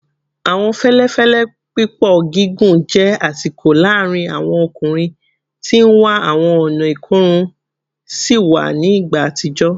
Awọn fẹlẹfẹlẹ pipọ gigun jẹ asiko laarin awọn ọkunrin ti n wa awọn ọna ikorun siwa ni igba atijọ